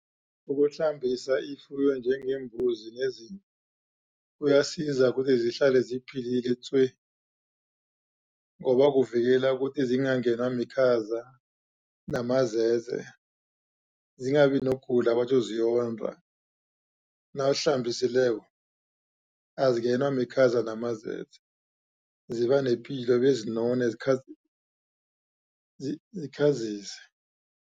Ukuhlambisa ifuyo njengeembuzi neziimvu kuyasiza ukuthi zihla ziphilile tswe ngoba kuvikela ukuthi zingangenwa mikhaza namazeze zingabi nokugula batjho ziyonda nawuzihlambisileko azingenwa mikhaza namazeze ziba nepilo bezinone zikhazise.